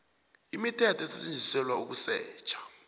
imithetho esetjenziselwa ukusetjha